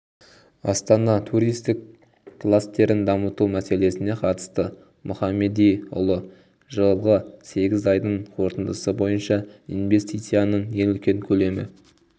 астана туристік кластерін дамыту мәселесіне қатысты мұхамедиұлы жылғы сегіз айдың қорытындысы бойынша инвестицияның ең үлкен көлемі